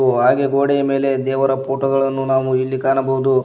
ಉ ಹಾಗೆ ಗೋಡೆಯ ಮೇಲೆ ದೇವರ ಫೋಟೋ ಗಳನ್ನು ನಾವು ಇಲ್ಲಿ ಕಾಣಬಹುದು.